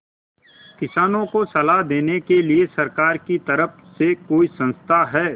किसानों को सलाह देने के लिए सरकार की तरफ से कोई संस्था है